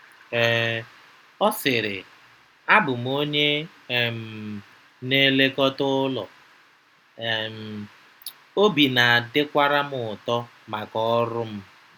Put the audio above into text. um Ọ sịrị: “Abụ m onye um na-elekọta ụlọ, um obi na-adịkwara m ụtọ maka ọrụ m.”